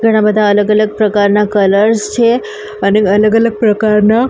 ઘણા બધા અલગ અલગ પ્રકારના કલર્સ છે અને અલગ અલગ પ્રકારના --